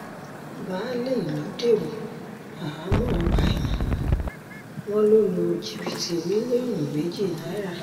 baálé ìlú dèrò àhámọ́ ọgbà ẹ̀wọ̀n wọn ló lu jìbìtì mílíọ̀nù méjì náírà